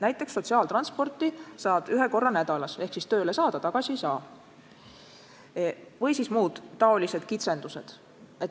Näiteks et sotsiaaltransporti saad kasutada ühe korra nädalas ehk tööle saad, aga tagasi ei saa ja muud taolised kitsendused.